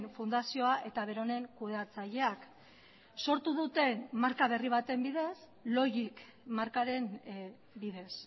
fundazioa eta beronen kudeatzaileak sortu duten marka berri baten bidez logic markaren bidez